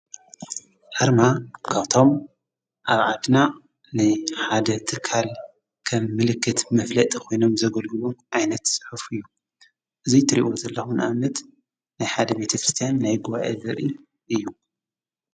ኣርማ ካብቶም ኣብዓድና ንሓደ ትካል ከም ምልክት መፍለጢ ኾይኖም ዘገልግሉ ዓይነት ሕፉ እዩ። እዙይ ትሪእኦ ዘለኹን ኣመት ናይሓደቤትፍርስቲያን ናይጉባኤ ዘርኢ እዩ።